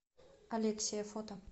алексия фото